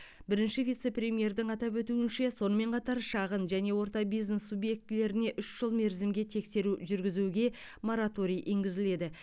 бірінші вице премьердің атап өтуінше сонымен қатар шағын және орта бизнес субъектілеріне үш жыл мерзімге тексеру жүргізуге мораторий енгізіледі